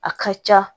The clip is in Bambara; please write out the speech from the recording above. A ka ca